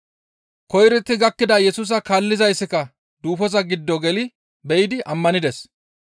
Koyrotti gakkida Yesusa kaallizayssika duufoza giddo geli be7idi ammanides.